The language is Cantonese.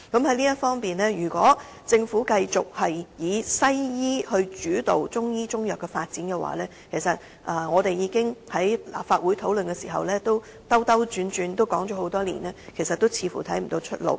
就此，如果政府繼續以西醫模式主導中醫及中藥的發展，便正如我們在立法會內兜兜轉轉地討論多年，似乎沒有出路。